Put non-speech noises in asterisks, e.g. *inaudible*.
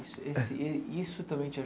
Isso esse *coughs* isso também te